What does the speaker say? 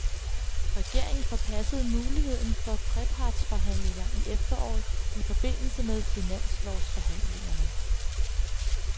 Regeringen forpassede muligheden for trepartsforhandlinger i efteråret i forbindelse med finanslovsforhandlingerne.